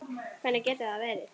Hvernig getur það verið?